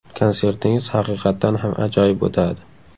Konsertingiz haqiqatdan ham ajoyib o‘tadi.